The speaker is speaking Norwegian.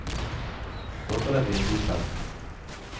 Håper det blir en god fest.